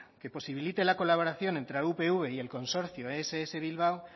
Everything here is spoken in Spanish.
que posibilite la colaboración entre la upv y el consorcio ess bilbao